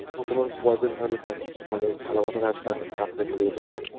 তখন ওর Boyfriend থাকলে মানে ভালোবাসা থাকলে তার সাথে চলে যেতে পারে